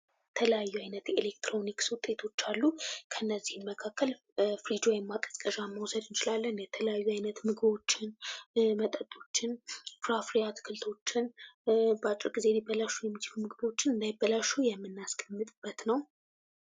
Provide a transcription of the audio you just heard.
የተለያዩ አይነት ኤሌክትሮኒክስ ውጤቶች አሉ። ከነዚህም መካከል ፍሪጅ ወይም ማቀዝቀዣ መውሰድ እንችላለን። የተለያዩ አይነት ምግቦችን፣ መጠጦችን፣ ፍራፍሬ አትክልቶችን ፣በአጭር ሊበላሹ የሚችሉ ምግቦችን እንዳይበላሹ የምናስቀምጥበት ነው።